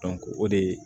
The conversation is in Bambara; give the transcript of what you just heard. o de ye